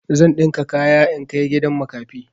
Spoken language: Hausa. Zan ɗinka kaya in kai gidan makafi.